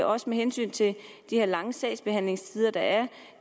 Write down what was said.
også med hensyn til de her lange sagsbehandlingstider der